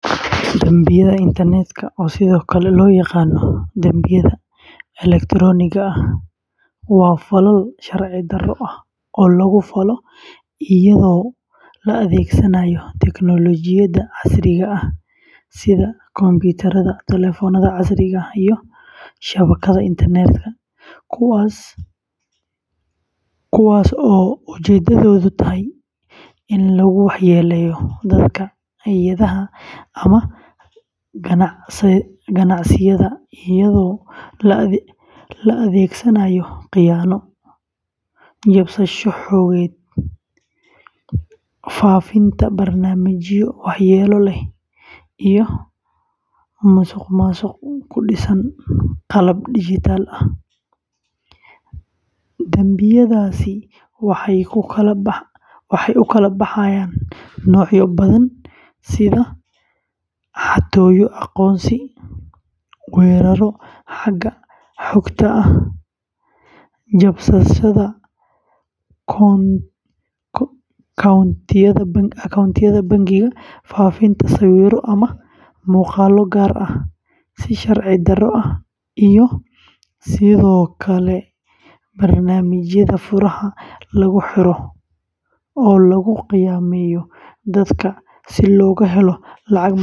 Dambiyada internetka, oo sidoo kale loo yaqaan dambiyada elektaroonigga ah, waa falal sharci-darro ah oo lagu falo iyadoo la adeegsanayo tiknoolajiyadda casriga ah sida kombiyuutarada, taleefannada casriga ah, iyo shabakadaha internetka, kuwaas oo ujeeddadoodu tahay in lagu waxyeelleeyo dadka, hay’adaha, ama ganacsiyada iyadoo la adeegsanayo khiyaano, jabsasho xogeed, faafinta barnaamijyo waxyeelo leh, iyo musuqmaasuq ku dhisan qalab dijitaal ah. Dambiyadaasi waxay u kala baxaan noocyo badan sida xatooyo aqoonsi, weerarro xagga xogta ah, jabsashada koontooyinka bangiyada, faafinta sawirro ama muuqaallo gaar ah si sharci-darro ah, iyo sidoo kale barnaamijyada furaha lagu xiro oo lagu khaa’imeeyo dad si looga helo lacag madax furasho ah.